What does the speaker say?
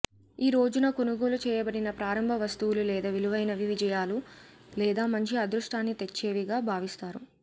ఈ రోజున కొనుగోలు చేయబడిన ప్రారంభ వస్తువులు లేదా విలువైనవి విజయాలు లేదా మంచి అదృష్టాన్ని తెచ్చేవిగా భావిస్తారు